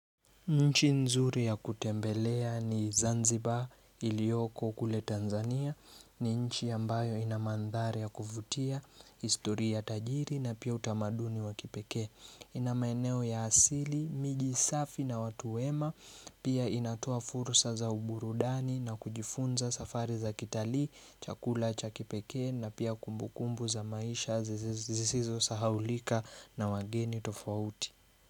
Nchi nzuri ya kutembelea ni Zanzibar ilioko kule Tanzania ni nchi ambayo ina mandhari ya kuvutia, historia tajiri na pia utamaduni wa kipekee ina maeneo ya asili, miji safi na watu wema Pia inatoa fursa za uburudani na kujifunza safari za kitalii, chakula cha kipeke na pia kumbukumbu za maisha zisizo sahaulika na wageni tofauti.